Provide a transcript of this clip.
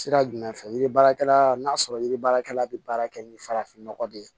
Sira jumɛn fɛ yiri baarakɛla n'a sɔrɔ yiri baarakɛla bɛ baara kɛ ni farafin nɔgɔ de ye